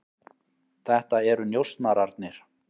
Þetta eru njósnararnir.